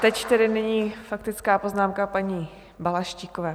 Teď tedy nyní faktická poznámka paní Balaštíkové.